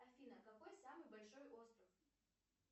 афина какой самый большой остров